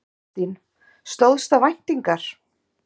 Kristín: Stóðst það væntingar?